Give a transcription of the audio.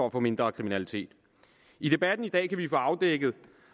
at få mindre kriminalitet i debatten i dag kan vi få afdækket